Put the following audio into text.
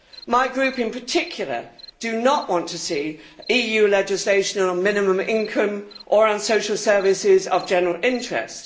My Group in particular do not want to see EU legislation on minimum income or on social services of general interest.